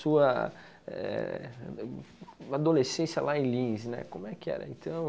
Sua eh adolescência lá em Lins, né, como é que era então?